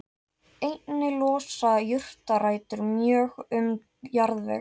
Einnig losa jurtarætur mjög um jarðveg.